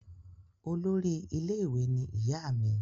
olórí ilé ìwé ní ìyá mí